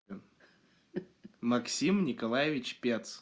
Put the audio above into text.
максим николаевич пец